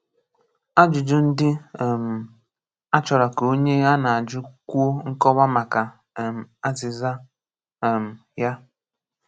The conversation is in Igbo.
Ajụ́jụ ndị́ um á chọ̀rọ̀ kà onyé á ná-ajụ̀ kwùọ nkọ̀wà makà um azị̀zà um yá.